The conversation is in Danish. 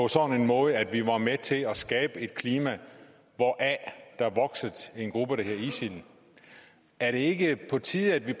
sådan måde at vi var med til at skabe et klima hvoraf der voksede en gruppe der hedder isil er det ikke på tide at vi